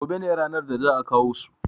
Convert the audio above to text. gobe ne ranar da za`a kawo su